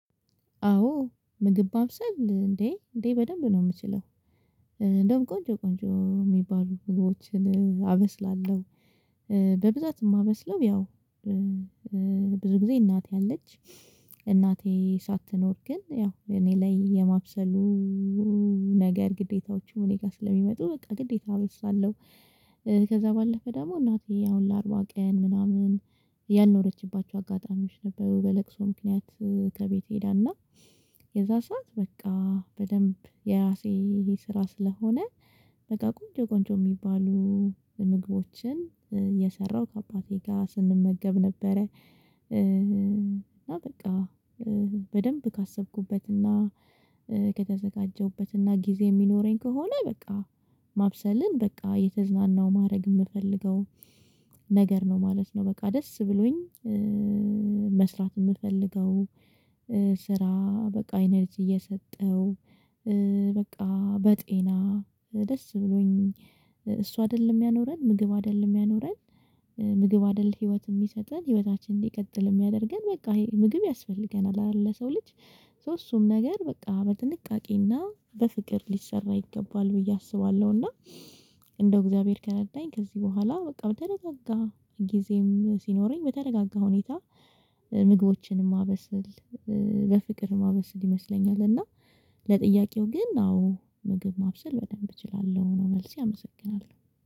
አዎ ምግብ ማብሰል እንዴ እንዴ በደንብ ነው የምችለው። እንደውም ቆንጆ ቆንጆ የሚባሉ ምግቦችን አበስላለሁ። በብዛት የማበስለው ያው ብዙ ጊዜ እናት አለች። እናቴ ሳትኖር ግን ያው እኔ ላይ የማብሰሉ ነገር ግዴታዎችም እኔ ጋር ስለሚመጡ በቃ ግዴታዎ አበስላለሁ። ከዛ ባለፈ ደግሞ እናቴ አሁን ለአርባ ቀን ምናምን ያንኖረችባቸው አጋጣሚዎች ነበሩ። በለቅሶ ምክንያት ከቤት ሄዳና የዛ ሰዓት በቃ በደንብ የራሴ ይሄ ስራ ስለሆነ። በቃ ቁንጆ ቆንጆ የሚባሉ ምግቦችን የሰራው ከአባቴ ጋር ስንመገብ ነበረ። አና በቃ በደንብ ካሰብኩበትና ከተዘጋጀሁበትና ጊዜ የሚኖረኝ ከሆነ በቃ ማብሰልን በቃ የተዝናናው ማድረግ የምፈልገው። ነገር ነው ማለት ነው። በቃ ደስ ብሎኝ መስራት የምፈልገው። ስራ በቃ ኢነርጂ የሚያስወጣ በቃ በጤና ደስ ብሎኝ። እሷ አይደለም ያኖረን ምግብ አይደለም ያኖረን ምግብ አይደለም ህይወት የሚሰጠን ህይወታችንን ሊቀጥል የሚያደርገን በቃ ይሄ ምግብ ያስፈልገናል አለ። ለሰው ልጅ ሶ እሱም ነገር በቃ በጥንቃቄና በፍቅር ሊሰራ ይገባል ብዬ አስባለሁ። እና እንደው እግዚአብሔር ከረዳኝ ከዚህ በኋላ በቃ ብተረጋጋ ጊዜም ሲኖረኝ በተረጋጋ ሁኔታ ምግቦችን ማበሰል በፍቅር ማበሰል ይመስለኛል። እና ለጥያቄው ግን አዎ ምግብ ማብሰል በደንብ እችላለሁ ነው መልሴ አመሰግናለሁ።